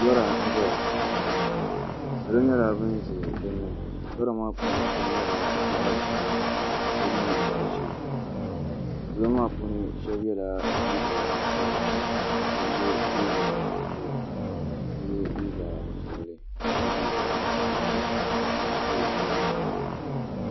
lɔra n-zaya salo nyɛla ban ʒe bɛ ni lɔra maa puuni so nyɛla zaɣ' buluu ka somi nyɛ zaɣ' ʒee salo maa puuni shɛba yela liiga sabila ka shɛba ye liiga buluu ka so ye liiga piɛlli ka so duulim dulim.